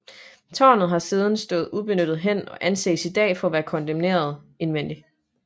Tårnet har siden stået ubenyttet hen og anses i dag for at være kondemneret indvendigt